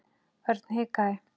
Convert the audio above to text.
Örn hikaði.